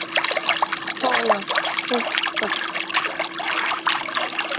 हो ना खूपच